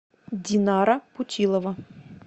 динара путилова